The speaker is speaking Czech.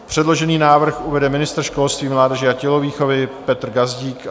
Předložený návrh uvede ministr školství, mládeže a tělovýchovy Petr Gazdík.